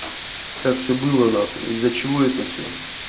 как всё было нахуй из-за чего это всё